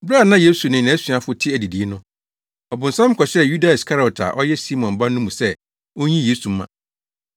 Bere a na Yesu ne nʼasuafo te adidii no, ɔbonsam kɔhyɛɛ Yuda Iskariot a ɔyɛ Simon ba no mu sɛ onyi Yesu mma.